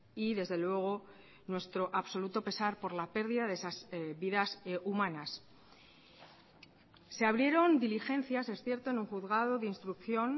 y desde luego nuestro absoluto pesar por la pérdida de esas vidas humanas se abrieron diligencias es cierto en un juzgado de instrucción